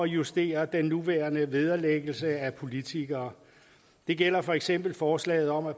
justere den nuværende vederlæggelse af politikere det gælder for eksempel forslaget om at